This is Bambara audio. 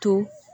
To